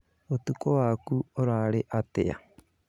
Ũtukũwaku ũrarĩ atĩa?